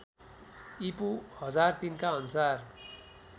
ईपू १००३ का अनुसार